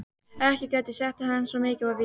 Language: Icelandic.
Ekki gat ég sagt til hans, svo mikið var víst.